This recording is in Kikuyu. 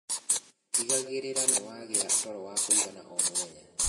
Tigagirira niwagia toro wa kuigana o mũthenya